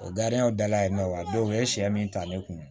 O dala yen nɔ wa don u ye sɛ min ta ne kun